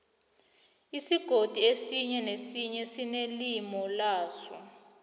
isigodi esinye nesinye sinelimi laso